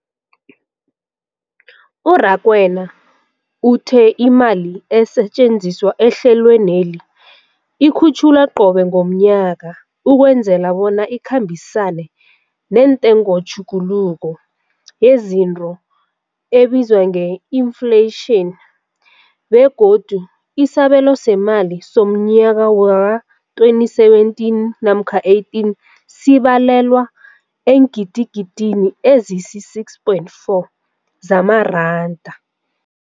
U-Rakwena uthe imali esetjenziswa ehlelweneli ikhutjhulwa qobe ngomnyaka ukwenzela bona ikhambisane nentengotjhuguluko yezinto ebizwa nge-infleyitjhini, begodu isabelo seemali somnyaka we-2017 namkha 18 sibalelwa eengidigidini ezisi-6.4 zamaranda.